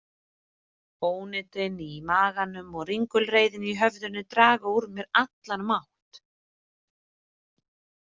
Ónotin í maganum og ringulreiðin í höfðinu draga úr mér allan mátt.